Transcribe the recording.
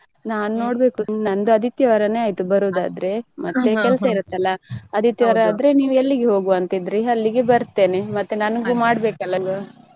ನಾನು ನೋಡ್ಬೇಕು ನಂದು ಆದಿತ್ಯವಾರನೇ ಆಯ್ತ್ ಬರೋದ್ ಆದ್ರೆ ಮತ್ತೆ ಕೆಲ್ಸ ಇರತ್ ಅಲ್ಲಾ. ಆದಿತ್ಯವಾರ ಆದ್ರೆ ನೀವ್ ಎಲ್ಲಿಗೆ ಹೋಗುವ ಅಂತ ಇದ್ರಿ ಅಲ್ಲಿಗೆ ಬರ್ತೇನೆ ಮತ್ತೆ ನನಗೂ ಮಾಡ್ಬೇಕು ಅಲ್ಲಾ ಅಲ್ಲಿ.